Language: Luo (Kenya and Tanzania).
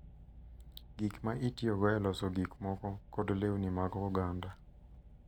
Gik ma itiyogo e loso gik moko, kod lewni mag oganda.